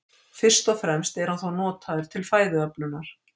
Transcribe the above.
Fyrst og fremst er hann þó notaður til fæðuöflunar.